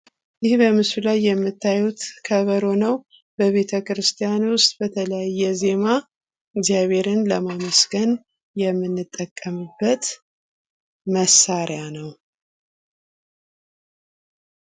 ይህ በምስሉ ላይ የምታዩት ከበሮ ነው በቤተክርስቲያን ዉስጥ በተለያየ ዜማ እግዚአብሔርን ለማመስገን የምንጠቀምበት መሳሪያ ነው።